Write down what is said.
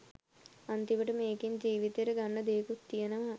අන්තිමට මේකෙන් ජීවිතයට ගන්න දේකුත් තියනවා.